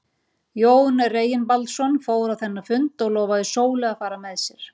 Jón Reginbaldsson fór á þennan fund og lofaði Sólu að fara með sér.